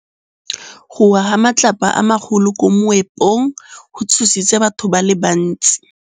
Go wa ga matlapa a magolo ko moepong go tshositse batho ba le bantsi.